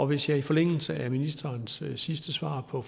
hvis jeg i forlængelse af ministerens sidste svar på